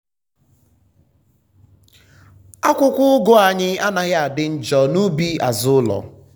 akwụkwọ ugu anyị anaghị adị njọ n'ubi azụ ụlọ.